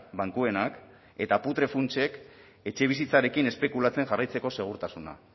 bankuenak eta putre funtsek etxebizitzarekin espekulatzen jarraitzeko segurtasuna